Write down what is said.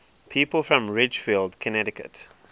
people from ridgefield connecticut